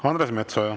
Andres Metsoja.